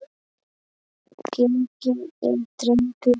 Genginn er drengur góður.